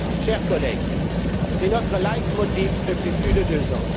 Chers collègues, c'est notre leitmotiv depuis plus de deux ans.